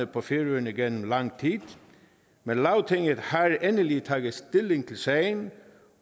på færøerne igennem lang tid men lagtinget har endelig taget stilling til sagen